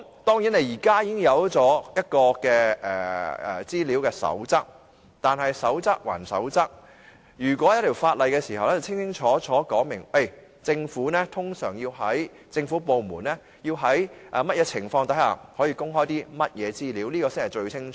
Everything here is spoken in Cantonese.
當然，現時已有一套《公開資料守則》，但守則歸守則，在訂立法例後，便能清清楚楚說明政府部門通常要在甚麼情況之下才可公開甚麼資料，這才是最清楚的。